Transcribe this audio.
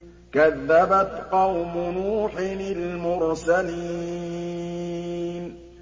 كَذَّبَتْ قَوْمُ نُوحٍ الْمُرْسَلِينَ